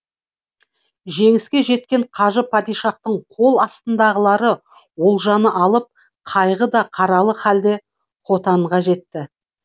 жеңіске жеткен қажы падишахтың қол астындағылары олжаны алып қайғы да қаралы халде хотанға жетті